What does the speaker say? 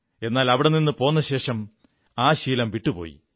എന്നാൽ അവിടെ നിന്നു പോന്നശേഷം ആ ശീലം വിട്ടുപോയി